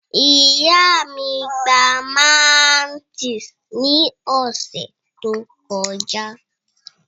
Ìyá mí pa máńtìs ní ọ̀sẹ̀ tó kọjá